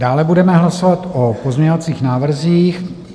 Dále budeme hlasovat o pozměňovacích návrzích.